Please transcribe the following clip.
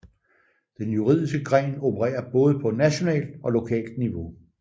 Den juridiske gren opererer både på nationalt og lokalt niveau